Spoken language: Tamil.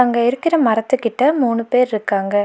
அங்க இருக்கிற மரத்துகிட்ட மூணு பேர்ருக்காங்க.